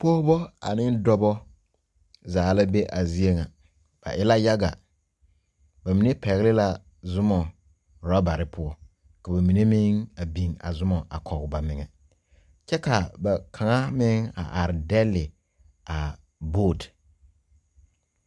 Pɔgba ane dɔba zaa la be a zeɛ nga ba e la yaga ba menne pegli la zuma rubarii ka ba menne meng a bing a zuma a kɔg ba menga kye ka ba kanga meng a arẽ dele a boat.